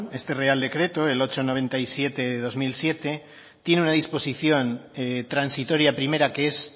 este real decreto el ochocientos noventa y siete barra dos mil siete tiene una disposición transitoria primera que es